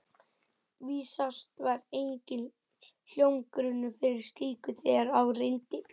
Vísast var enginn hljómgrunnur fyrir slíku, þegar á reyndi.